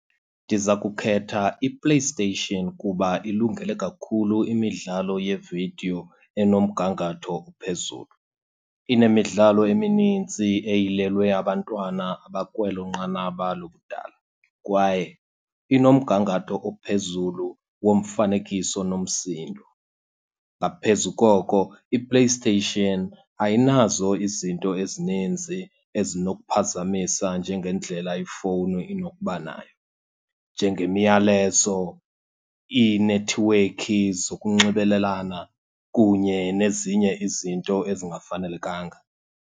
Ndiza kukhetha iPlayStation kuba ilungele kakhulu imidlalo yeevidiyo enomgangatho ophezulu. Inemidlalo eminintsi eyilelwe abantwana abakwelo nqanaba lobudala kwaye inomgangatho ophezulu womfanekiso nomsindo. Ngaphezu koko iPlayStation ayinazo izinto ezininzi ezinokuphazamisa njengendlela ifowuni inokuba nayo, njengemiyalezo, iinethiwekhi zokunxibelelana, kunye nezinye izinto ezingafanelekanga.